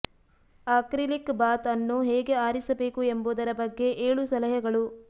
acrylic bath ಅನ್ನು ಹೇಗೆ ಆರಿಸಬೇಕು ಎಂಬುದರ ಬಗ್ಗೆ ಏಳು ಸಲಹೆಗಳು